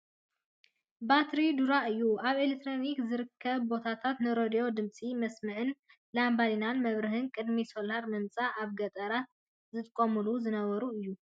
ባትሪ ዱራታ እዩ። ኣብ ኤሌክትሪክ ዘይርከቦ ቦታታት ንሬድዮ ድምፂ መስምዕን ላምባዲና መብርህን ቅድሚ ሶላር ምምፀኣን ኣብ ገጠራት ዝጥቀሙሉ ዝነበሩ እዩ ።